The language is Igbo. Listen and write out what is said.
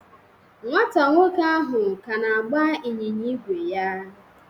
Nwa nwoke ahụ ka na-agba ịnyịnya ígwè ya